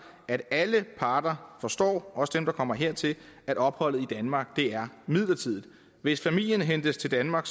at alle parter forstår også dem der kommer hertil at opholdet i danmark er midlertidigt hvis familien hentes til danmark